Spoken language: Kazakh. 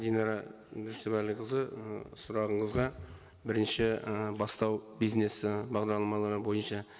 динара жүсіпәліқызы ы сұрағыңызға бірінші ы бастау бизнес і бағдарламалары бойынша